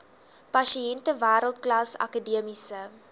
pasiënte wêreldklas akademiese